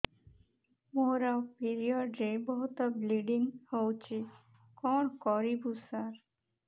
ମୋର ପିରିଅଡ଼ ରେ ବହୁତ ବ୍ଲିଡ଼ିଙ୍ଗ ହଉଚି କଣ କରିବୁ ସାର